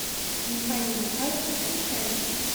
михаил михайлович псянчин